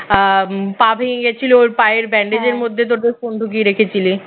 আহ পা ভেঙে গেছিল ওর পায়ের bandage মধ্যে তোদের phone ঢুকিয়ে রেখেছিলি